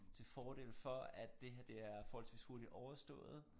Til fordel for at det her det er forholdsvis hurtigt overstået